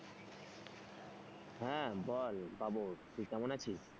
হ্যাঁ বল বাবর, তুই কেমন আছিস?